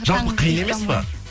жалпы қиын емес па